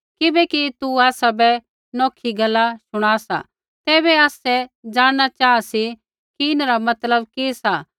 किबैकि तू आसाबै नौखी गैला शुणा सा तैबै आसै ज़ाणना चाहा सी कि इन्हरा मतलब कि सा